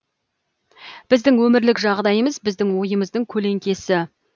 біздің өмірлік жағдайымыз біздің ойымыздың көлеңкесі